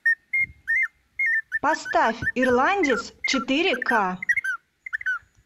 поставь ирландец четыре ка